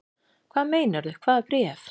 Hvað meinarðu. hvaða bréf?